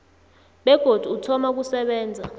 begodu uthoma ukusebenza